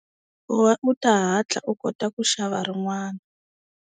Ku va u ta hatla u kota ku xava rin'wana.